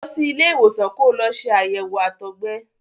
Lọ sí ilé ìwòsàn ko lọ ṣe àyẹ̀wò àtọgbẹ.